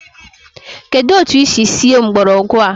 Kedụ etu i si sie mgbọrọgwụ a?